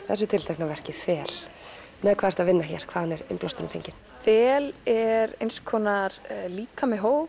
þessu tiltekna verki þel með hvað ertu að vinna hér hvaðan er innblásturinn fenginn þel er eins konar líkami hóps